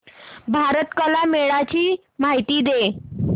भारत कला मेळावा ची माहिती दे